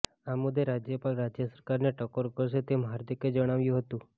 આ મુદ્દે રાજ્યપાલ રાજ્ય સરકારને ટકોર કરશે તેમ હાર્દિકે જણાવ્યું હતું